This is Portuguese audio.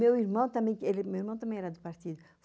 Meu irmão também era do partido.